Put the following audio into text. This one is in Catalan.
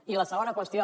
i la segona qüestió